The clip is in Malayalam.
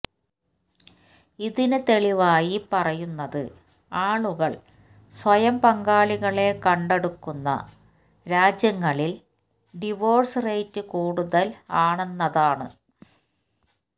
ഇതിന് തെളിവായി പറയുന്നത് ആളുകള് സ്വയം പങ്കാളികളെ കണ്ടെടുക്കുന്ന രാജ്യങ്ങളില് ഡിവോഴ്സ് റേറ്റ് കൂടുതല് ആന്നെന്നതാണ്